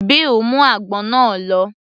Bill mú àgbọn náà lọ